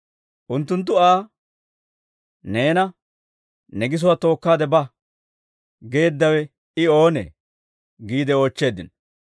Unttunttu Aa, «Neena, ‹Ne gisuwaa tookkaade ba› geeddawe I oonee?» giide oochcheeddino.